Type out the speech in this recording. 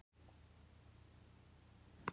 Vatnasvið Þjórsár ofan Búrfells í Þjórsárdal.